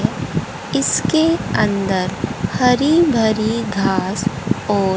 इसके अंदर हरी भरी घास और--